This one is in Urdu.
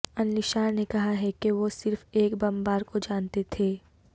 النشار نے کہا ہے کہ وہ صرف ایک بمبار کو جانتے تھے